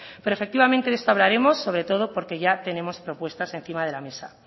pero efectivamente de esto hablaremos sobretodo porque ya tenemos propuestas encima de la mesa